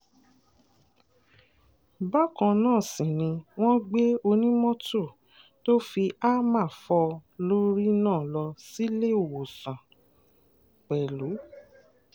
bákan náà sì ni wọ́n gbé onímọ́tò tó fi hámà fò lórí náà lọ síléèọ̀sán pẹ̀lú